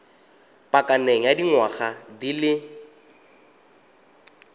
pakeng ya dingwaga di le